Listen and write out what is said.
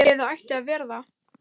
Eða ætti að vera það.